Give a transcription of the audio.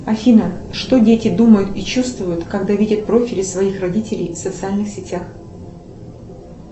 афина что дети думают и чувствуют когда видят профили своих родителей в социальных сетях